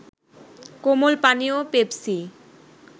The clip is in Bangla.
কোমল পানীয় পেপসি